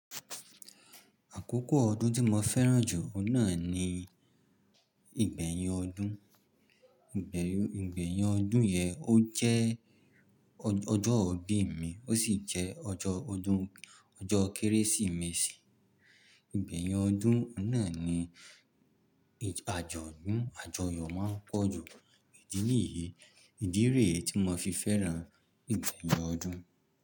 Àkókò ọdún tí mo fẹ́ràn jù ọ́un náà ni ìgbẹ̀yìn ọdún. Ìgbẹ̀yìn o, Ìgbẹ̀yìn ọdún yẹn ó jẹ́ o, ọjọ́ ìbí mi ó sì jẹ́ ọjọ́ ọdún ọjọ́ Kérésìmesì. Ìgbẹ̀yìn ọdún ohun náà ni ij àjọ̀dún, àjọyọ̀ máa ń pọ̀ jù. Idí niyìí, ìdí ree tí mo fi fẹ́ràn ìgbẹ̀yìn ọdún.